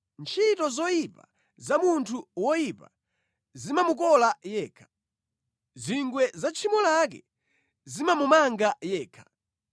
Ntchito zoyipa za munthu woyipa zimamukola yekha; zingwe za tchimo lake zimamumanga yekha.